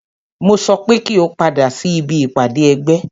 Mo sọ pé kí o padà sí ibi ìpàdé ẹgbẹ́!